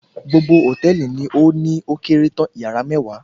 Gbogbo hòtẹ́ẹ̀lì ni ó ní ókéré tán, yàrá mẹ́wàá